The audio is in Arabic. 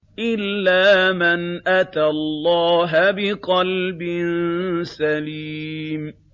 إِلَّا مَنْ أَتَى اللَّهَ بِقَلْبٍ سَلِيمٍ